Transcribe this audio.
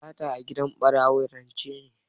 Sata a gidan ɓarawo rance ne.